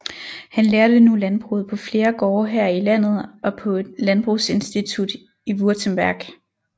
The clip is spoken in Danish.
Han lærte nu landbruget på flere gårde her i landet og på et landbrugsinstitut i Württemberg